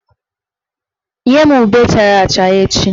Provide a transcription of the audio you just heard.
Nye m ube chara acha echi!